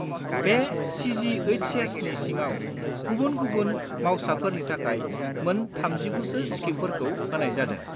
बे सि.जि.एइस.एस.नि सिङाव गुबुन-गुबुन मावसाफोरनि थाखाय मोन 39 सो स्किमफोरखौ होनाय जादों।